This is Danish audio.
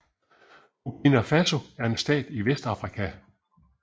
Burkina Faso er en stat i Vestafrika